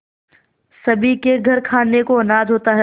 सभी के घर खाने को अनाज होता है